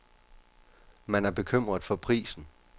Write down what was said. Man er bekymret for prisen.